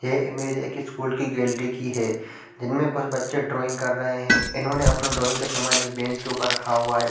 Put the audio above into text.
ये इमेज एक स्कूल के गैलरी की है जिनमे कुछ बच्चे ड्राइंग कर रहै है इन्होने अपने ड्राइंग का समान एक बेंच के उपर रखा हुआ हैं।